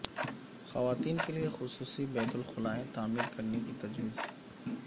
خواتین کے لیے خصوصی بیت الخلائیں تعمیر کرنے کی تجویز